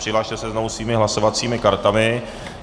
Přihlaste se znovu svými hlasovacími kartami.